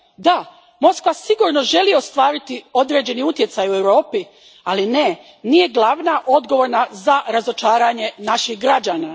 Da, Moskva sigurno želi ostvariti određeni utjecaj u Europi, ali ne nije glavna odgovorna za razočaranje naših građana.